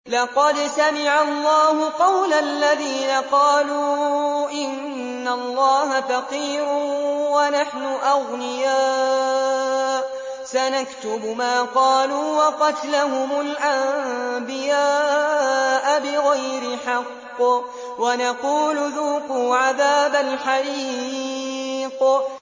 لَّقَدْ سَمِعَ اللَّهُ قَوْلَ الَّذِينَ قَالُوا إِنَّ اللَّهَ فَقِيرٌ وَنَحْنُ أَغْنِيَاءُ ۘ سَنَكْتُبُ مَا قَالُوا وَقَتْلَهُمُ الْأَنبِيَاءَ بِغَيْرِ حَقٍّ وَنَقُولُ ذُوقُوا عَذَابَ الْحَرِيقِ